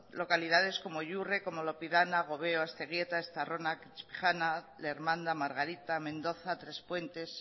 localidades como yurre como lopidana gobeo asteguieta estarrona subijana lermanda margarita mendoza trespuentes